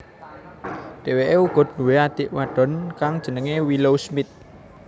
Dheweke uga duwé adik wadon kang jenenge Willow Smith